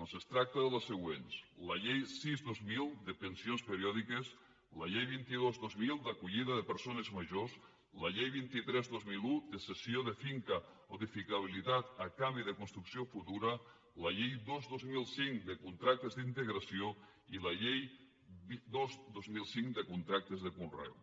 doncs es tracta de les següents la llei sis dos mil de pensions periòdiques la llei vint dos dos mil d’acollida de persones majors la llei vint tres dos mil un de cessió de finca o d’edificabilitat a canvi de construcció futura la llei dos dos mil cinc de contractes d’integració i la llei un dos mil vuit de contractes de conreu